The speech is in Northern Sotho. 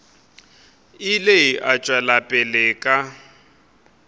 ile a tšwela pele ka